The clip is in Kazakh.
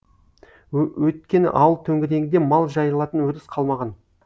өйткені ауыл төңірегінде мал жайылатын өріс қалмаған